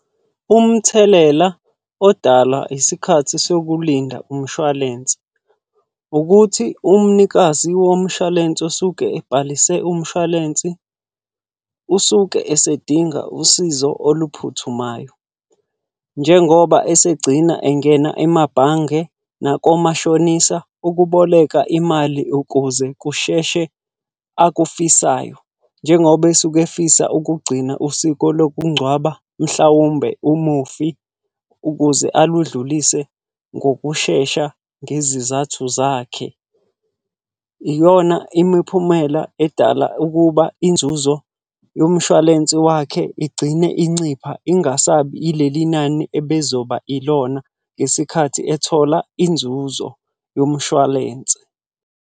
Umthelela odala isikhathi sokulinda umshwalense. Ukuthi umnikazi womshwalense osuke ebhalise umshwalensi, usuke esedinga usizo oluphuthumayo. Njengoba esegcina engena emabhange nakomashonisa ukuboleka imali ukuze kusheshe akufisayo. Njengoba esuke efisa ukugcina usiko lokungcwaba, mhlawumbe umufi ukuze aludlulise ngokushesha ngezizathu zakhe. Iyona imiphumela edala ukuba inzuzo yomshwalense wakhe igcine incipha ingasabi ileli nani ebizoba ilona ngesikhathi ethola inzuzo yomshwalense.